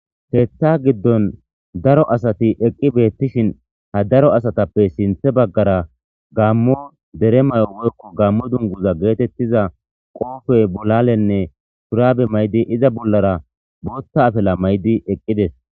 Hetha giddon daro asati eqqi beettishin ha daro asatappe sinthe baggara gammo dere mayo woykko gammo dunguza geetettiza qoofey bolalenne surabe maydi iza bollara booththa afela may'di eqqides.